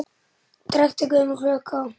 Trekkt er gömul klukka.